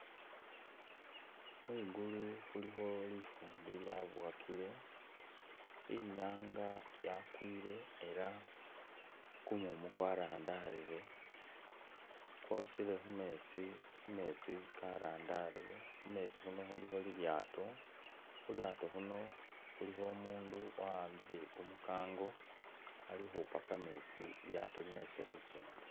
Khwingulu khulikho lifumbi lyabowakile inyanga yakwile elah kumumu kwarandarile kwosile khumetsi kametsi karandarile khumetsi khuuno khulikho umundu wa'ambile kumukango alikhupa kametsi lilyato linyalise khukenda